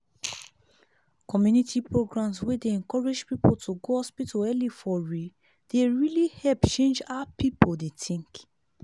community programs wey dey encourage people to go hospital early for real dey really help change how people dey think.